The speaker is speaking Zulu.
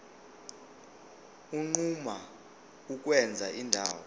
unquma ukwenza indawo